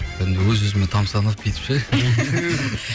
енді өз өзіме тамсанып бүйтіп ше